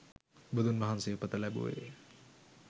බුදුන්වහන්සේ උපත ලැබුවේ